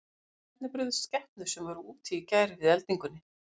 En hvernig brugðust skepnur sem voru úti í gær við eldingunni?